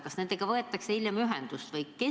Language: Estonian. Kas nendega võetakse hiljem ühendust?